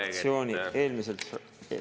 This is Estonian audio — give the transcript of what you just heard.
Kas on midagi üle anda?